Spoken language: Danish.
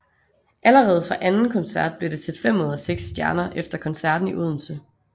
Allerede fra anden koncert blev det til fem ud af seks stjerner efter koncerten i Odense